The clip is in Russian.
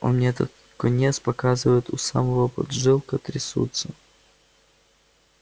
он мне этот конец показывает а у самого поджилки трясутся